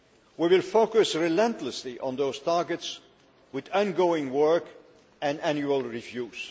We will focus relentlessly on those targets with ongoing work and annual reviews.